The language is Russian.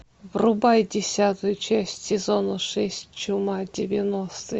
врубай десятую часть сезона шесть чума девяностые